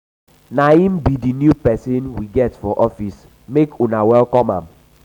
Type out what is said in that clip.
na him be the new person we get for office make una welcome am.